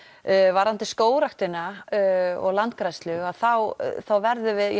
varðandi skógrækrina og landgræðslu þá verðum við